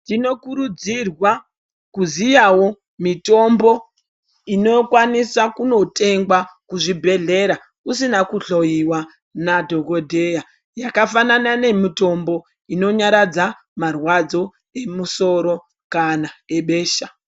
Tinokurudzirwa kuziyawo mitombo inokwanisa kunotengwa kuzvibhedhleya usina kuhloyiwa nadhokoteya yakafanana nemitombo inonyaradza marwadzo emusoro kana ebesha .